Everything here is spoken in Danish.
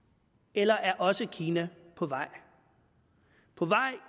eller er også kina på vej på vej